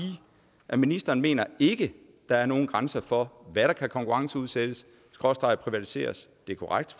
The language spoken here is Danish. at ministeren mener ikke at der er nogen grænser for hvad der kan konkurrenceudsættes og privatiseres det er korrekt